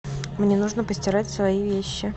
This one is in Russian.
мне нужно постирать свои вещи